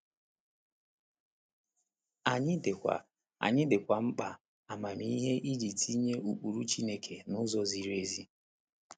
Anyị dịkwa Anyị dịkwa mkpa amamihe iji tinye ụkpụrụ Chineke n’ụzọ ziri ezi.